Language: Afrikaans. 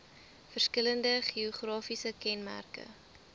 verskillende geografiese kenmerke